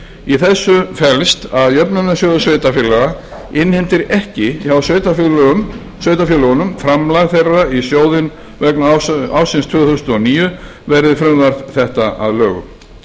í þessu felst að jöfnunarsjóður sveitarfélaga innheimtir ekki hjá sveitarfélögunum framlag þeirra í sjóðinn vegna ársins tvö þúsund og níu verði frumvarp þetta að lögum